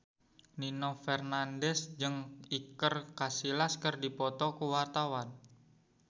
Nino Fernandez jeung Iker Casillas keur dipoto ku wartawan